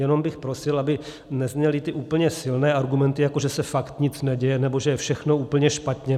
Jenom bych prosil, aby nezněly ty úplně silné argumenty, jako že se fakt nic neděje nebo že je všechno úplně špatně.